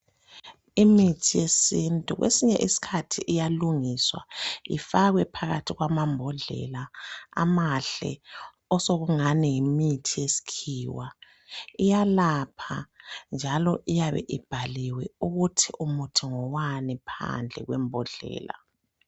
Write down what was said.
Imithi yesithu kwesinye isikhathi iyalungiswa ifakwe phakathi kwamabhodlela amahle, sokungathi yimithi yesikhiwa. Iyalapha njalo iyabe kubhaliwe ukuthi umuthi ngowani.